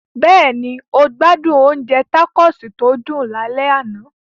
Bẹ́ẹ̀ni, o gbádùn oúnjẹ tacos tó dùn lálẹ́ àná.